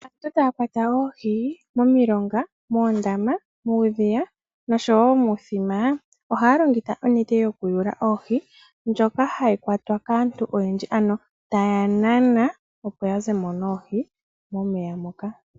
Ngele aantu taya kwata oohi momilonga, moondama, muudhiya noshowo momithima ohaya longitha onete yokuyula oohi ndjoka hayi kwatwa kaantu oyendji , ano taya nana opo yazemo noohi momeya moka.